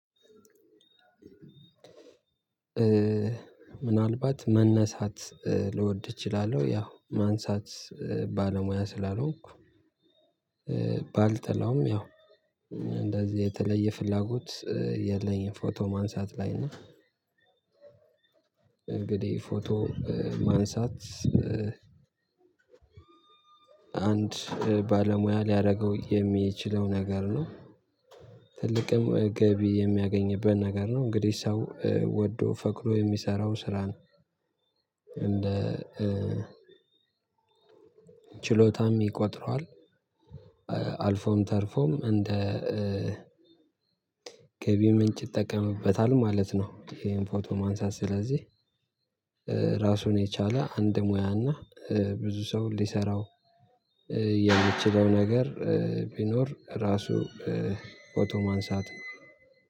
ምናልባት መነሳት ልወድ እችላለሁ ያው ማንሳት ባለሙያ ስላልሆንኩ። ባልጠላውም ያው እንደዚህ የተለየ ፍላጎት የለኝም ፎቶ ማንሳት ላይ እና። እንግዲህ ፎቶ ማንሳት አንድ ባለሙያ ሊያደርገው የሚችለው ነገር ነው። ትልቅም ገቢ የሚያገኝበት ነገር ነው እንግዲህ ሰው ወዶ ፈቅዶ የሚሰራው ስራ ነው። እንደ ችሎታም ይቆጥረዋል። አልፎም ተርፎም እንደ ገቢ ምንጭ ይጠቀምበታል ማለት ነው። ፎቶ ማንሳት ስለዚህ። ራሱን የቻለ አንድ ሙያ እና ብዙ ሰው ሊሰራው የሚችለው ነገር ቢኖር ራሱ ፎቶ ማንሳት ነው።